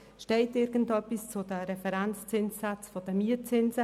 Steht irgendetwas zu den Referenzzinssätzen der Mietzinse?